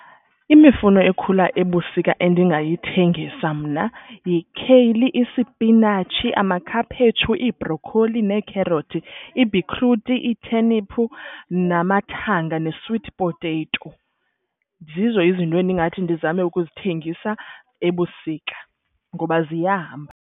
Imifuno ekhula ebusika endingayithengisa mna yikheyili, isipinatshi, amakhaphetshu, ibrokholi neekherothi. Ibhitruthi, itheniphu, namathanga ne-sweet potato. Zizo izinto endingathi ndizame ukuzithengisa ebusika ngoba ziyahamba.